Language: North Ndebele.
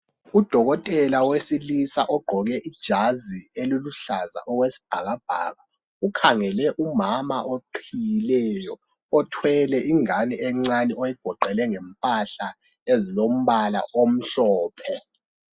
Udokotela wesilisa ogqqoke ijazi eliluhlaza okwesibhakabhaka ukhangele umama oqhiyileyo othwele ingane encane oyigoqele ngempahla ezilombala omhlophe